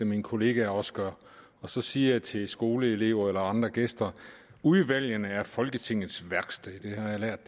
mine kollegaer også gør og så siger jeg til skoleelever eller andre gæster udvalgene er folketingets værksted det har jeg lært at